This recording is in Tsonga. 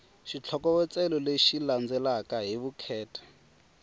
xitlhokovetselo lexi landzelaka hi vukheta